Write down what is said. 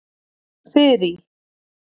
Þyrí